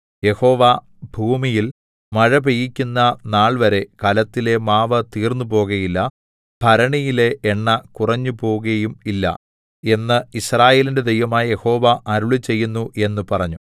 യഹോവ ഭൂമിയിൽ മഴ പെയ്യിക്കുന്ന നാൾവരെ കലത്തിലെ മാവ് തീർന്നുപോകയില്ല ഭരണിയിലെ എണ്ണ കുറഞ്ഞുപോകയും ഇല്ല എന്ന് യിസ്രായേലിന്റെ ദൈവമായ യഹോവ അരുളിച്ചെയ്യുന്നു എന്ന് പറഞ്ഞു